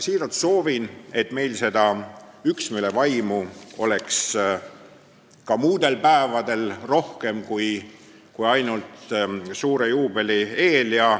" Siiralt soovin, et meil oleks seda üksmeele vaimu rohkem ka muudel päevadel kui ainult suure juubeli eel.